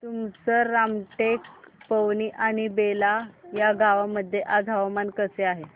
तुमसर रामटेक पवनी आणि बेला या गावांमध्ये आज हवामान कसे आहे